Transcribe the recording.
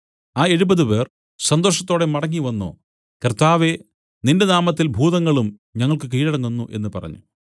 ആ എഴുപതുപേർ സന്തോഷത്തോടെ മടങ്ങിവന്നു കർത്താവേ നിന്റെ നാമത്തിൽ ഭൂതങ്ങളും ഞങ്ങൾക്കു കീഴടങ്ങുന്നു എന്നു പറഞ്ഞു